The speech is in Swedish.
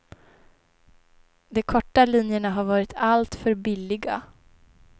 De korta linjerna har varit alltför billiga.